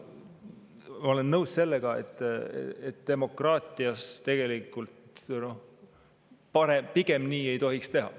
Ma olen nõus, et demokraatias tegelikult pigem nii ei tohiks teha.